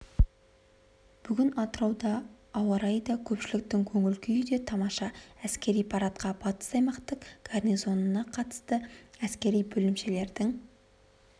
бүгін атырауда ауа-райы да көпшіліктің көңіл-күйі де тамаша әскери парадқа батыс аймақтық гарнизонына қарасты әскери бөлімшелердің